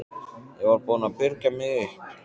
Ég var búin að byrgja mig upp.